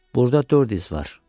Burada dörd iz var.